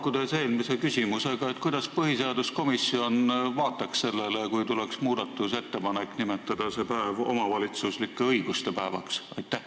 Ma haakun eelmise küsimusega: kuidas põhiseaduskomisjon vaataks sellele, kui tuleks muudatusettepanek nimetada see päev omavalitsuslike õiguste päevaks?